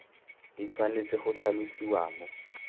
di tshwanetse go tlhalosiwa mo